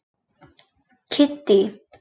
Kiddý